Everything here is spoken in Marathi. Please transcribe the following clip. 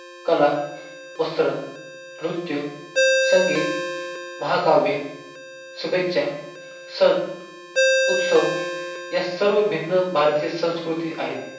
कला, वस्त्र, नृत्य, संगीत, महाकाव्य, शुभेच्या, सण, उत्सव या सर्व भिन्न भारतीय संस्कृती आहेत.